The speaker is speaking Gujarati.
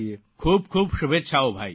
ખૂબ ખૂબ શુભેચ્છાઓ ભાઇ